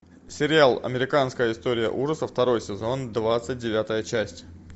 сериал американская история ужасов второй сезон двадцать девятая часть